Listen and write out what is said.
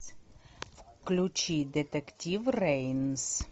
включи детектив рейнс